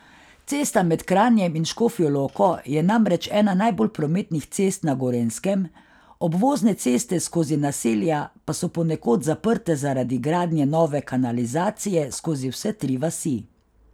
Cesta med Kranjem in Škofjo Loko je namreč ena najbolj prometnih cest na Gorenjskem, obvozne ceste skozi naselja pa so ponekod zaprte zaradi gradnje nove kanalizacije skozi vse tri vasi.